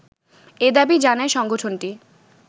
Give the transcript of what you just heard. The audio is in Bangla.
এ দাবি জানায় সংগঠনটি